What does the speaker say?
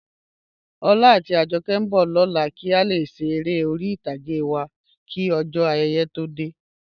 Ọlá àti Àjọ̀kẹ̀ nbọ̀ lọlá kí a lè ṣè èrè orí itàgé wa kí ojó ayéyé tó dẹ̀.